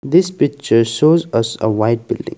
this picture shows us a white building.